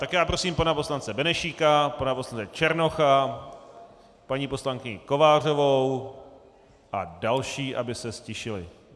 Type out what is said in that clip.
Tak já prosím pana poslance Benešíka, pana poslance Černocha, paní poslankyni Kovářovou a další, aby se ztišili.